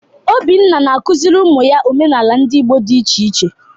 Obinna na-akụziri ụmụ ya omenala ndị Igbo dị iche iche.